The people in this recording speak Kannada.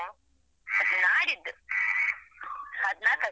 ನಾಡಿದ್ದು ಹದ್ನಾಕಕ್ಕೆ.